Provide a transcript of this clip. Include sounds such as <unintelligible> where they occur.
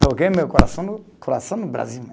<unintelligible> meu coração no, coração no Brasil.